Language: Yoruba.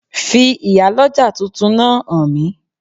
Fi Ìyálọ́jà tuntun náà hàn mí